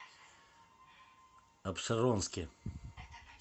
апшеронске